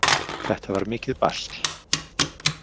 Þetta var mikið basl.